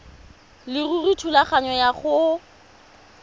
leruri thulaganyo ya go